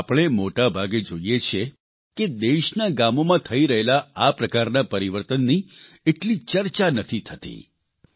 પરંતુ આપણે મોટાભાગે જોઇએ છીએ કે દેશના ગામોમાં થઇ રહેલા આ પ્રકારના પરિવર્તનની એટલી ચર્ચા નથી થતી